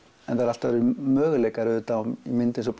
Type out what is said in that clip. allt aðrir möguleikar auðvitað í mynd eins og